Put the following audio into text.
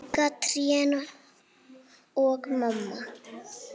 Líka trén og mamma.